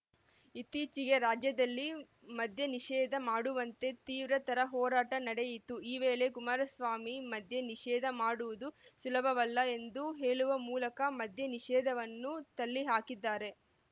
ಇತ್ತೀಚೆಗೆ ರಾಜ್ಯದಲ್ಲಿ ಮದ್ಯ ನಿಷೇಧ ಮಾಡುವಂತೆ ತೀವ್ರತರ ಹೋರಾಟ ನಡೆಯಿತು ಈ ವೇಳೆ ಕುಮಾರಸ್ವಾಮಿ ಮದ್ಯ ನಿಷೇಧ ಮಾಡುವುದು ಸುಲಭವಲ್ಲ ಎಂದು ಹೇಳುವ ಮೂಲಕ ಮದ್ಯ ನಿಷೇಧವನ್ನು ತಳ್ಳಿಹಾಕಿದ್ದಾರೆ